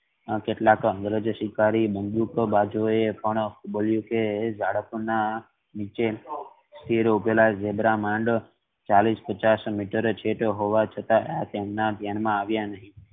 કેટલા કે અંગ્રેજી શિકારી એ પણ કહીંયુ કે ઝારફ ના થી ઉભે લા ઝીબ્રા મંદ ચાલીશ પચાશ મીટરે હોવા છતાં તેમના ધ્યાન માં આવિયા નહિ.